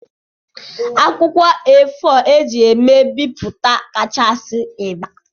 Akwụkwọ A4 eji eme bipụta kachasị ịgba.